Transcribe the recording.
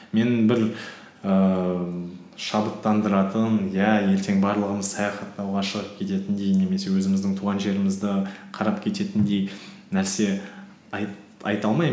мені бір ііі шабыттандыратын иә ертең барлығымыз саяхаттауға шығып кететіндей немесе өзіміздің туған жерімізді қарап кететіндей нәрсе айта